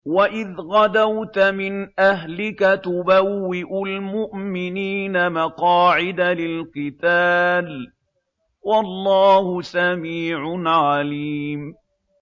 وَإِذْ غَدَوْتَ مِنْ أَهْلِكَ تُبَوِّئُ الْمُؤْمِنِينَ مَقَاعِدَ لِلْقِتَالِ ۗ وَاللَّهُ سَمِيعٌ عَلِيمٌ